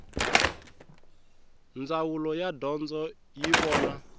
ndzawulo ya dyondzo yi vona